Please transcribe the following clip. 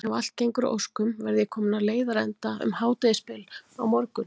Ef allt gengur að óskum verð ég kominn á leiðarenda um hádegisbil á morgun.